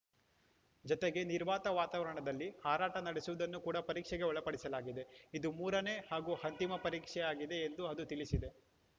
ಜತೆಗೆ ನಿರ್ವಾತ ವಾತಾವರಣದಲ್ಲಿ ಹಾರಾಟ ನಡೆಸುವುದನ್ನು ಕೂಡ ಪರೀಕ್ಷೆಗೆ ಒಳಪಡಿಸಲಾಗಿದೆ ಇದು ಮೂರನೇ ಹಾಗೂ ಅಂತಿಮ ಪರೀಕ್ಷೆಯಾಗಿದೆ ಎಂದು ಅದು ತಿಳಿಸಿದೆ